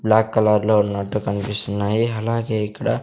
black colour లో ఉన్నట్టు కనిపిస్తున్నాయి అలాగే ఇక్కడ--